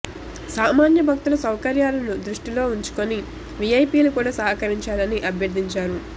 సామాన్య భక్తుల సౌకర్యాలను దష్టిలో ఉంచుకొని వీఐపీలు కూడా సహకరించాలని అభ్యర్థించారు